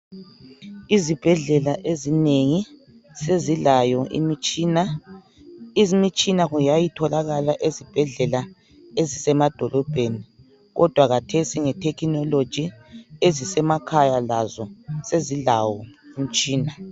Izibhedlela ezinengi sezilayo imitshina. Imitshina yayitholakala ezibhedlela ezisemadolobheni kodwa khathesi nge technology ezisemakhayo lazo sezilayo imitshina.